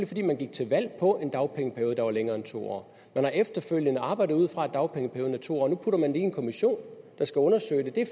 fordi man gik til valg på en dagpengeperiode der var længere end to år man har efterfølgende arbejdet ud fra at dagpengeperioden er to år og nu putter man det i en kommission der skal undersøge det det er